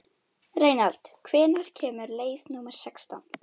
Reynald, hvenær kemur leið númer sextán?